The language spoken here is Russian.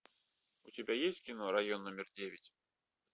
у тебя есть кино район номер девять